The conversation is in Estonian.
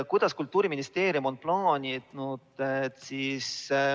Kuidas Kultuuriministeerium on plaaninud kriisist välja tulla?